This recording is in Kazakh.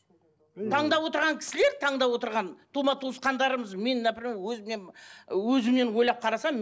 таңдап отырған кісілер таңдап отырған тума туысқандарымыз мен например өзімнен өзімнен ойлап қарасам